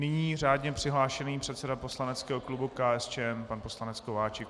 Nyní řádně přihlášený předseda poslaneckého klubu KSČM pan poslanec Kováčik.